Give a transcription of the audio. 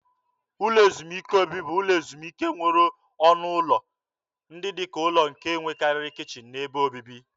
Ụlọ ezumike obibi bụ ụlọ ezumike nwere ọnụ ụlọ ndị dị ka ụlọ nke na-enwekarị kichin na ebe obibi.